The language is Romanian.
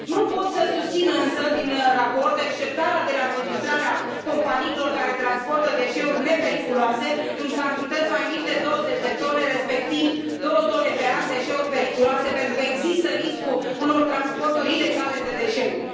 Nu pot să susțin, însă, din raport exceptarea de la înregistrarea companiilor care transportă deșeuri nepericuloase în cantități mai mici de 20 de tone, respectiv două tone pe an de deșeuri periculoase, pentru că există riscul unor transporturi ilegale de deșeuri.